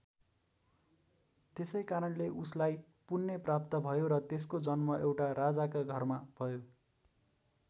त्यसै कारणले उसलाई पुन्य प्राप्त भयो र त्यसको जन्म एउटा राजाका घरमा भयो।